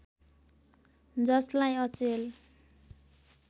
जसलाई अचेल